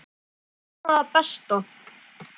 En ég vona það besta.